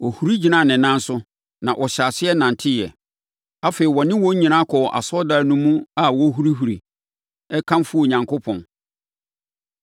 Ɔhuri gyinaa ne nan so, na ɔhyɛɛ aseɛ nanteeɛ. Afei, ɔne wɔn nyinaa kɔɔ asɔredan no mu a ɔrehurihuri, rekamfo Onyankopɔn.